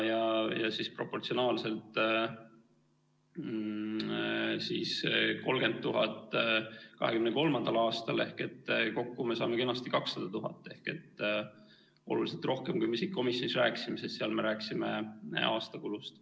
Ja proportsionaalselt siis 30 000 2023. aastal ehk kokku me saame kenasti 200 000 ehk oluliselt rohkem, kui me komisjonis rääkisime, sest seal me rääkisime aasta kulust.